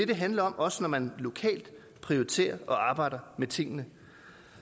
det handler om også når man prioriterer og arbejder med tingene